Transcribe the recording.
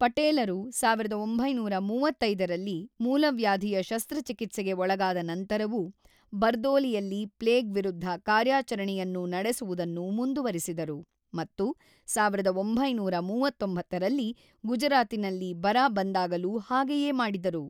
ಪಟೇಲರು ೧೯೩೫ರಲ್ಲಿ ಮೂಲವ್ಯಾಧಿಯ ಶಸ್ತ್ರಚಿಕಿತ್ಸೆಗೆ ಒಳಗಾದ ನಂತರವೂ ಬರ್ದೋಲಿಯಲ್ಲಿ ಪ್ಲೇಗ್ ವಿರುದ್ಧ ಕಾರ್ಯಾಚರಣೆಯನ್ನು ನಡೆಸುವುದನ್ನು ಮುಂದುವರಿಸಿದರು ಮತ್ತು ೧೯೩೯ರಲ್ಲಿ ಗುಜರಾತಿನಲ್ಲಿ ಬರ ಬಂದಾಗಲೂ ಹಾಗೆಯೇ ಮಾಡಿದರು.